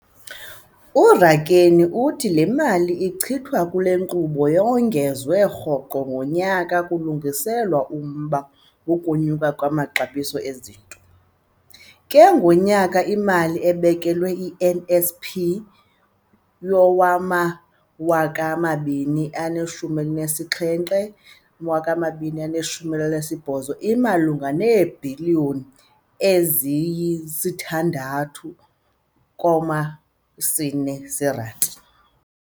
URakwena uthi le mali ichithwa kule nkqubo iyongezwa rhoqo ngonyaka kulungiselelwa umba wokunyuka kwamaxabiso ezinto, ke ngoko imali ebekelwe i-NSP yowama-2017-2018 imalunga neebhiliyoni eziyi-6.4 zeerandi.